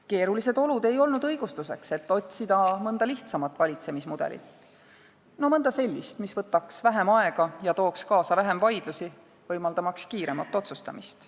Keerulised olud ei olnud õigustuseks, et otsida mõnda lihtsamat valitsemismudelit – mõnda sellist, mis võtaks vähem aega ja tooks kaasa vähem vaidlusi, võimaldamaks kiiremat otsustamist.